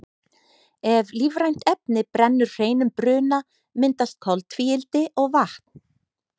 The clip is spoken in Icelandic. ef lífrænt efni brennur hreinum bruna myndast koltvíildi og vatn